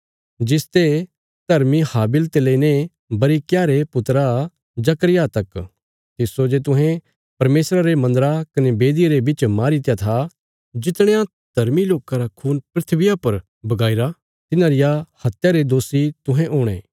जिसते धर्मी हाबिल ते लेईने बरिक्याह रे पुत्रा जकर्याह तक तिस्सो जे तुहें परमेशरा रे मन्दरा कने बेदिया रे बिच मारीत्या था जितणयां धर्मी लोकां रा खून धरतिया पर बगाईरा तिन्हां रिया हत्या रे दोषी तुहें हुणे